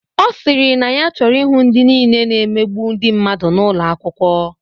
Ọ sịrị na ya choro ihụ ndị nile na-emegbu ndị mmadụ n'ụlo akwụkwo.